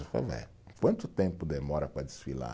quanto tempo demora para desfilar?